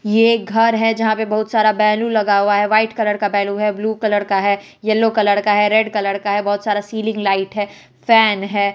ये घर है जहां पे बहुत सारा बैलून लगा हुआ है व्हाइट कलर का बैलू है ब्लू कलर का है येल्लो कलर का है रेड कलर का है बहुत सारा सीलिंग लाइट है फैन है।